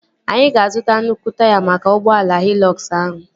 Anyị ga-azuta nnukwu taya maka ụgbọala Hịlọkz ahụ